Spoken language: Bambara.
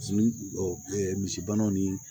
Misi misibana ni